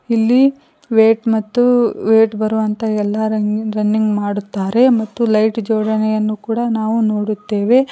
ಇಲ್ಲಿ ವೆಟ್ ಮತ್ತು ವೇಟ್ ಬರುವಂತ ಎಲ್ಲಾ ರನ್ನಿನ ರನ್ನಿಂಗ ಮಾಡುತ್ತಾರೆ ಮತ್ತು ಲೈಟ್ ಜೋಡಣೆಯನ್ನು ಕೂಡ ನಾವು ನೋಡುತ್ತೇವೆ.